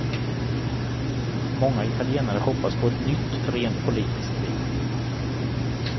Många italienare hoppas på ett nytt, rent politiskt liv.